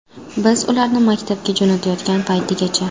Biz ularni maktabga jo‘natayotgan paytigacha.